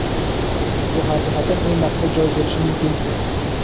Bu har jihatdan eng maqbul joy bo‘lishi mumkin.